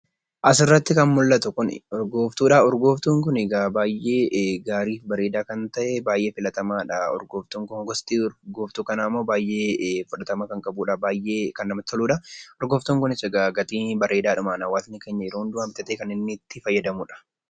Asirratti kan mul'atu kun, urgootuudha. Urgooftuun Kun baayyee gaarii fi bareedaa kan ta'e , baayyee filatamaadha Urgooftuun Kun. Gosti urgooftuu kanaa baayyee fudhatamaa kan qabudha, baayyee kan namatti toludha. Urgooftuun Kunis gatii bareedaadhumaan hawaasni keenya yeroo hundumaa bitatee kan itti fayyadamudha.